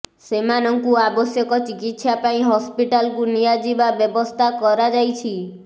ସେମାନଙ୍କୁ ଆବଶ୍ୟକ ଚିକିତ୍ସା ପାଇଁ ହସ୍ପିଟାଲ୍କୁ ନିଆଯିବା ବ୍ୟବସ୍ଥା କରାଯାଇଛି